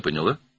Məni başa düşdün?